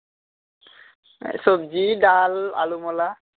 সবজি ডাল আলুমলা